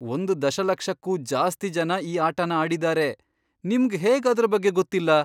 ಒಂದ್ ದಶಲಕ್ಷಕ್ಕೂ ಜಾಸ್ತಿ ಜನ ಈ ಆಟನ ಆಡಿದಾರೆ. ನಿಮ್ಗ್ ಹೇಗ್ ಅದ್ರ ಬಗ್ಗೆ ಗೊತ್ತಿಲ್ಲ?